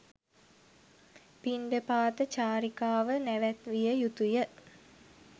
පිණ්ඩපාත චාරිකාව නැවැත්විය යුතු ය.